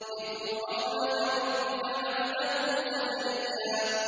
ذِكْرُ رَحْمَتِ رَبِّكَ عَبْدَهُ زَكَرِيَّا